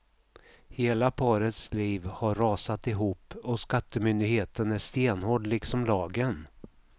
Hela parets liv har rasat ihop och skattemyndigheten är stenhård liksom lagen.